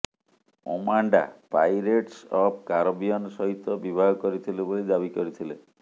Amanda pirates of Caribbean ସହିତ ବିବାହ କରିଥିଲେ ବୋଲି ଦାବି କରିଥିଲେ